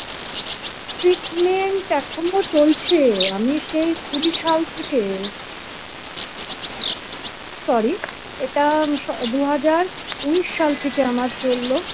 treatment এখনো চলছে আমি সেই কুড়ি সাল থেকে sorry এটা দু হাজার উনিশ সাল থেকে আমার চললো।